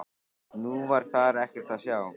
Nú var þar ekkert að sjá.